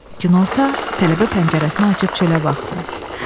Günorta tələbə pəncərəsini açıb çölə baxdı.